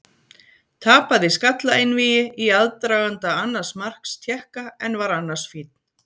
Tapaði skallaeinvígi í aðdraganda annars marks Tékka en var annars fínn.